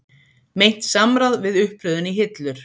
Meint samráð við uppröðun í hillur